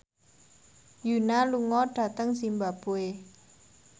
Yoona lunga dhateng zimbabwe